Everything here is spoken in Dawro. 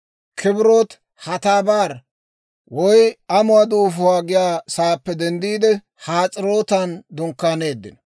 Kibrot-Hatabar (Amuwaa Duufuwaa) giyaa saappe denddiide, Has'erootan dunkkaaneeddino.